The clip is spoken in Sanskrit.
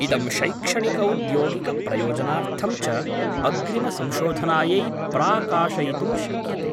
इदं शैक्षणिकौद्योगिकप्रयोजनार्थं च अग्रिमसंशोधनायै प्राकाशयितुं शक्यते।